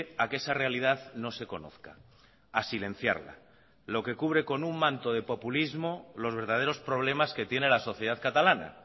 a que esa realidad no se conozca a silenciarla lo que cubre con un manto de populismo los verdaderos problemas que tiene la sociedad catalana